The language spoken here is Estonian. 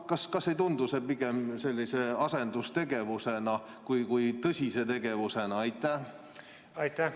Kas see ei tundu pigem sellise asendustegevusena?